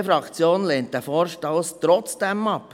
Die BDP-Fraktion lehnt diesen Vorstoss trotzdem ab.